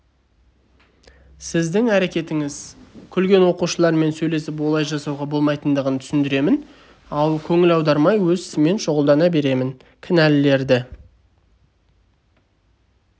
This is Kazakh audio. сіздің әрекетіңіз күлген оқушылармен сөйлесіп олай жасауға болмайтындығын түсіндіремін көңіл аудармай өз ісіммен шұғылдана беремін кінәлілерді